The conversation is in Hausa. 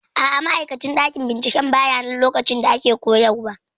A'a, ma'aikacin ɗakin binciken bayanan lokacin da ake koyarwa